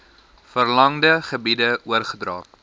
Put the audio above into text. verlangde gebiede oorgedra